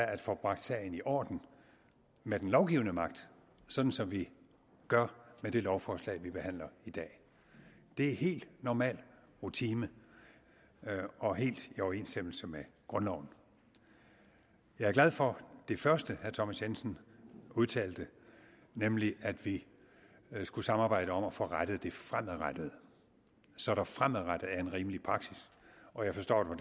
at få bragt sagen i orden med den lovgivende magt sådan som vi gør med det lovforslag vi behandler i dag det er helt normal rutine og helt i overensstemmelse med grundloven jeg er glad for det første herre thomas jensen udtalte nemlig at vi skulle samarbejde om at få rettet det fremadrettet så der fremadrettet er en rimelig praksis og jeg forstår det